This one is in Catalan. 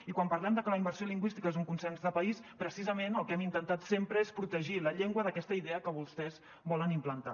i quan parlem de que la immersió lingüística és un consens de país precisament el que hem intentat sempre és protegir la llengua d’aquesta idea que vostès volen implantar